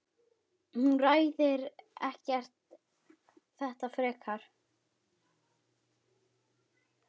Hún ræðir þetta ekkert frekar.